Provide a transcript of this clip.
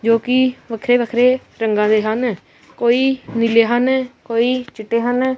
ਜੋ ਕਿ ਵੱਖਰੇ ਵੱਖਰੇ ਰੰਗਾਂ ਦੇ ਹਨ ਕੋਈ ਨੀਲੇ ਹਨ ਕੋਈ ਚਿੱਟੇ ਹਨ।